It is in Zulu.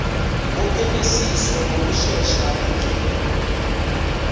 wophenyisiso ngokushesha ngendlela